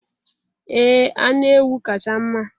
Ee anụ ewu kacha mma